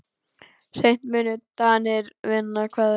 Seint munu Danir vinna Hveðn.